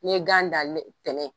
Ni ye gan dan ntɛnɛn